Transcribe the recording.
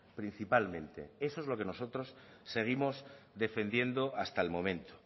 principalmente eso es lo que nosotros seguimos defendiendo hasta el momento